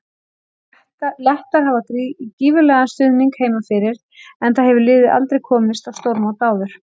Lettar hafa gífurlegan stuðnings heima fyrir enda hefur liðið aldrei komist á stórmót áður.